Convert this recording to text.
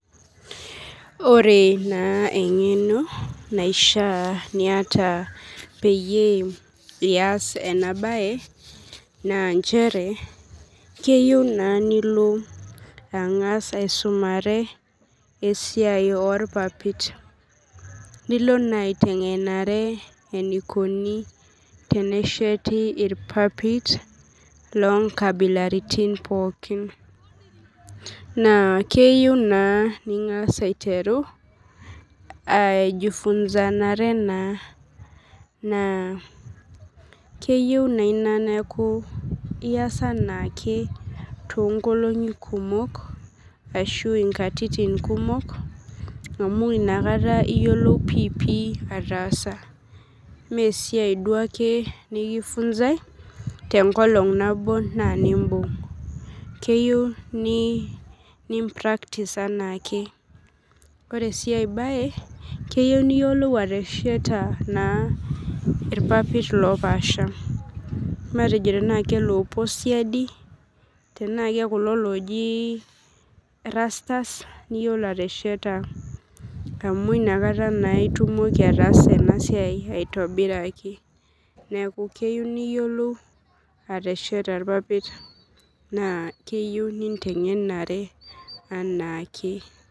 Ore na engeno naishaa niata peyie ias enabae na nchere keyieu na nilobangas aisumare esiai orpapit nilo na aitengenare enikuni tenesheti irpapit lonkabilaitin pookin na keyieu na nengasa aiteru aijifunzare na keyio ina nias tonkatitin kumok amu inakata iyiolou piipii ataasa mesiai duo nikifunzai tenkolong nabo na nimbung keyieu nipractise enaakekeyieu niyiolo atesheta irpapit opaasha matejo tana kaloopuo siadi tana kakulo niyiolo atesheta amu nakata itumoki atesheta aitobiraki neaku keyieu niyiolou atesheta irpapit na keyieu nintengenare anaake.